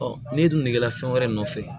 n'i dun kɛra fɛn wɛrɛ nɔfɛ